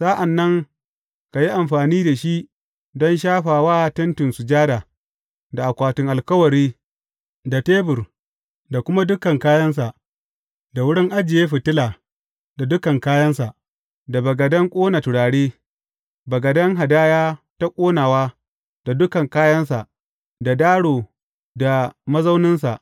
Sa’an nan ka yi amfani da shi don shafa wa Tentin Sujada, da akwatin alkawari, da tebur da kuma dukan kayansa, da wurin ajiye fitila da dukan kayansa, da bagaden ƙona turare, bagaden hadaya ta ƙonawa da dukan kayansa, da daro da mazauninsa.